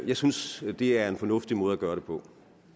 jeg synes at det er en fornuftig måde at gøre det på